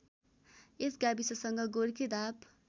यस गाविससँग गोर्खेधाप